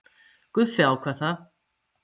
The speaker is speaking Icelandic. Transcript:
Guffi ákvað það.